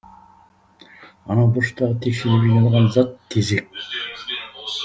анау бұрыштағы текшелеп жиналған зат тезек